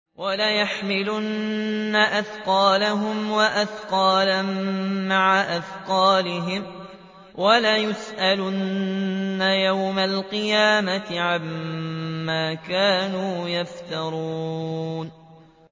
وَلَيَحْمِلُنَّ أَثْقَالَهُمْ وَأَثْقَالًا مَّعَ أَثْقَالِهِمْ ۖ وَلَيُسْأَلُنَّ يَوْمَ الْقِيَامَةِ عَمَّا كَانُوا يَفْتَرُونَ